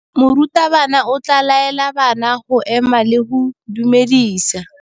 Morutabana o tla laela bana go ema le go go dumedisa.